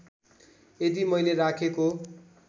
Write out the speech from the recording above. यदि मैले राखेको